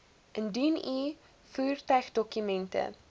indien u voertuigdokumente